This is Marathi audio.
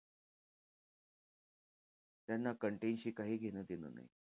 त्यांना content शी काहीही घेणं-देणं नाही.